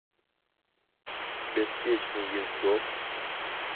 беспечный ездок